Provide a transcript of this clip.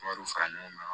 Wariw fara ɲɔgɔn kan